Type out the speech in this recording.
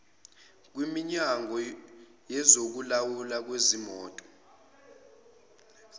kwiminyango yezokulawulwa kwezimoto